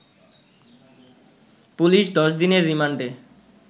police ১০ দিনের রিমান্ডের